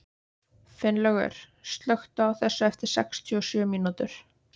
Finnlaugur, slökktu á þessu eftir sextíu og sjö mínútur.